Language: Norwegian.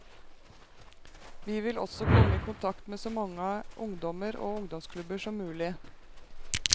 Vi vil også komme i kontakt med så mange ungdommer og ungdomsklubber som mulig.